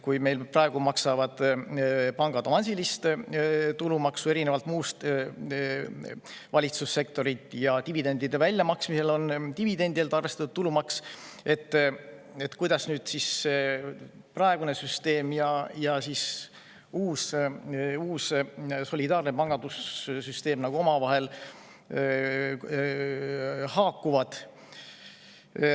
Meil praegu maksavad pangad avansilist tulumaksu, erinevalt muust valitsussektorist, ja dividendide väljamaksmisel on dividendidelt arvestatud tulumaksu, aga kuidas praegune süsteem ja uus solidaarne süsteem omavahel haakuvad.